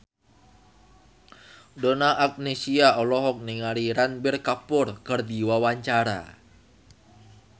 Donna Agnesia olohok ningali Ranbir Kapoor keur diwawancara